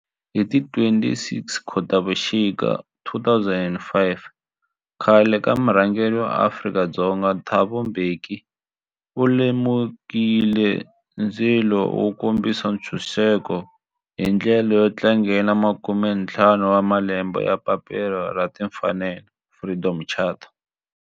Hi ti 26 Khotavuxika 2005 khale ka murhangeri wa Afrika-Dzonga Thabo Mbeki u lumekile ndzilo wo kombisa ntshuxeko, hi ndlela yo tlangela makume-ntlhanu wa malembe ya papila ra timfanelo, Freedom Charter.